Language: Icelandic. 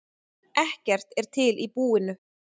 Ekkert er til í búinu.